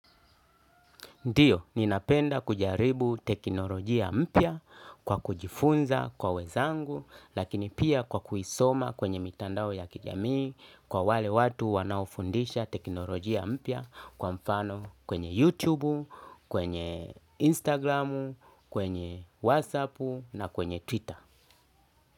Ndiyo, ninapenda kujaribu teknolojia mpya kwa kujifunza kwa wenzangu, lakini pia kwa kuisoma kwenye mitandao ya kijamii, kwa wale watu wanaofundisha teknolojia mpya kwa mfano kwenye YouTube, kwenye Instagram, kwenye WhatsApp na kwenye Twitter.